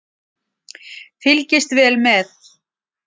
Fylgist vel með